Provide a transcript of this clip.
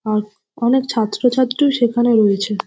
আর অনেক ছাত্রছাত্রীও সেখানে রয়েছে।